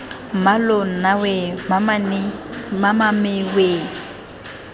mmaloo nna weee mamame weee